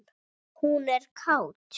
Hún er kát.